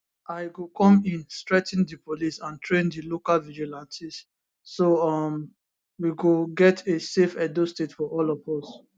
i go come in strengthen di police and train di local vigilantes so um we go get a safe edo state for all of us